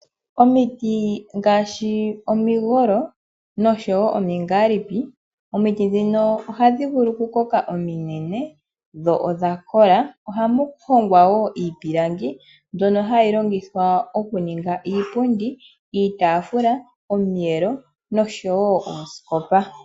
Omiti ngaashi omigolo noshowo omingalipi, omiti dhino ohadhi vulu oku koka eta dhingi ningi ominene. Ohamu hongwa iipilangi mbyono hayi longithwa oku ninga iipundi, iitafula omiyelo noshowo oosikopa.